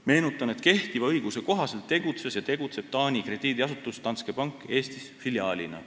Meenutan, et kehtiva õiguse kohaselt tegutses ja tegutseb Taani krediidiasutus Danske Bank Eestis filiaalina.